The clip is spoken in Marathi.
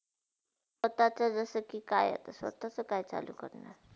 आता काय जस कि काय आता स्वतचा काय चालू करणार.